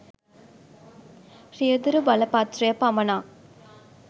රියදුරු බලපත්‍රය පමණක්